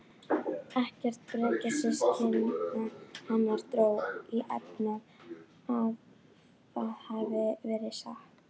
Ekkert bekkjarsystkina hennar dró í efa að það væri satt.